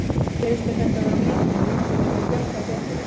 Finnst þér þetta vera of lítið, myndirðu vilja fjölga í deildinni?